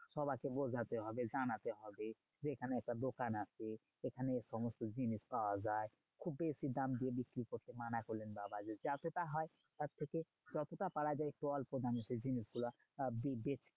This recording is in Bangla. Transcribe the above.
সবাইকে বোঝাতে হবে জানাতে হবে যে, এইখানে একটা দোকান আছে। এখানে সমস্ত জিনিস পাওয়া যায়। খুব বেশি দাম দিয়ে বিক্রি করতে মানা করলেন বাবা যে, যতটা হয় তার থেকে যতটা পারা যায় অল্প দামে সেই জিনিসগুলো আহ বেচ